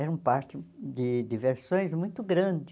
Era um parque de diversões muito grande.